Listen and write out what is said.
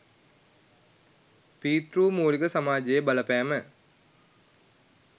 පීතෘමූලික සමාජයේ බලපෑම